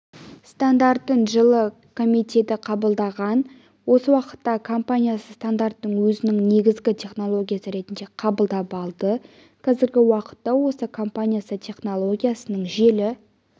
стандартын жылы комитеті қабылдаған осы уақытта компаниясы стандартын өзінің негізгі технологиясы ретінде қабылдап алды қазіргі уақытта осы компаниясы технологиясының желі